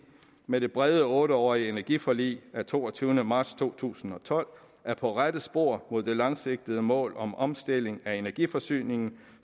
med det brede otte årige energiforlig af toogtyvende marts to tusind og tolv er på rette spor mod det langsigtede mål om omstilling af energiforsyningen